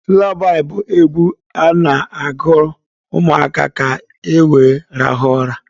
Lulabaị bụ egwu a na-agụrụ ụmụaka ka were rahụọ ụra.